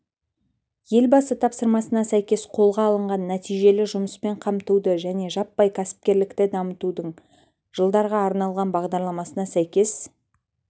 елбасы тапсырмасына сәйкес қолға алынған нәтижелі жұмыспен қамтуды және жаппай кәсіпкерлікті дамытудың жылдарға арналған бағдарламасына сәйкес